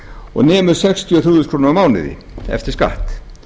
og nemur sextíu og þrjú þúsund krónur á mánuði eftir skatt